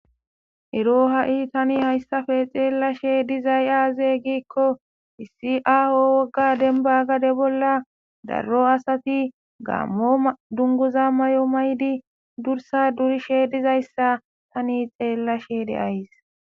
Erk ha'i tani hayissape xelashe dizzay aze gikko issi awati banita aho gadeni dungiz mayidi durissa durishe diza iza tani xelashe de'ayiis.